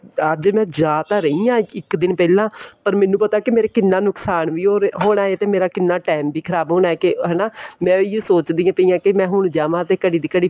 ਅੱਜ ਮੈਂ ਜਾ ਤਾਂ ਰਹੀ ਹਾਂ ਇੱਕ ਦਿਨ ਪਹਿਲਾਂ ਪਰ ਮੈਨੂੰ ਪਤਾ ਏ ਮੇਰਾ ਕਿੰਨਾ ਨੁਕਸ਼ਾਨ ਵੀ ਹੋਣਾ ਏ ਤੇ ਮੇਰਾ ਕਿੰਨਾ time ਵੀ ਖ਼ਰਾਬ ਹੋਣਾ ਏ ਕੇ ਹੈਨਾ ਮੈਂ ਇਹ ਹੀ ਸੋਚਦੀ ਪਈ ਹਾਂ ਹੁਣ ਜਾਵਾ ਤੇ ਘੜੀ ਤੇ ਘੜੀ